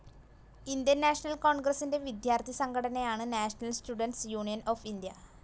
Indian National കോൺഗ്രസിന്റെ വിദ്യാർത്ഥി സംഘടനയാണ് National Students Union of India.